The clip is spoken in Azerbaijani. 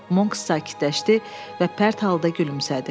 Monks sakitləşdi və pərt halda gülümsədi.